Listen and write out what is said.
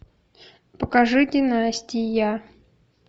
покажи династия